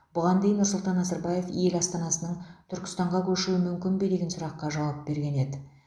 бұған дейін нұрсұлтан назарбаев ел астанасының түркістанға көшуі мүмкін бе деген сұраққа жауап берген еді